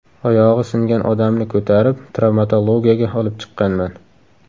Oyog‘i singan odamni ko‘tarib, travmatologiyaga olib chiqqanman.